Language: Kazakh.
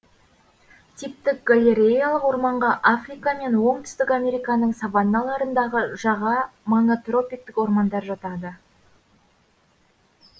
типтік галереялық орманға африка мен оңтүстік американың саванналарындағы жаға маңы тропиктік ормандар жатады